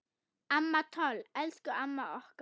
Amma Toll, elsku amma okkar.